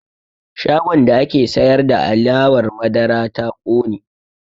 Shagon da ake sayar da alewar madara ta ƙone